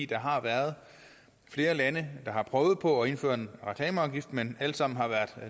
der har været flere lande der har prøvet på at indføre en reklameafgift men alle sammen har været